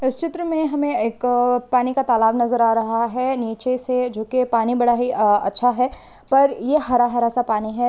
इस चित्र मे हमे एक अह पानी का तालाब नजर आ रहा है नीचे से जो के पानी बड़ा ही अह अच्छा है। पर ये हरा हरा सा पानी है।